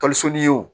wo